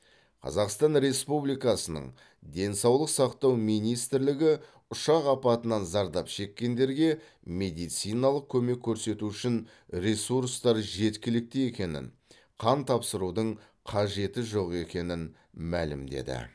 қазақстан республикасының денсаулық сақтау министрлігі ұшақ апатынан зардап шеккендерге медициналық көмек көрсету үшін ресурстар жеткілікті екенін қан тапсырудың қажеті жоқ екенін мәлімдеді